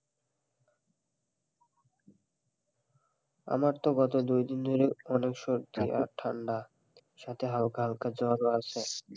আমার তো গত দুই দিন ধরে অনেক সর্দি আর ঠান্ডা সাথে হালকা হালকা জ্বরও আছে,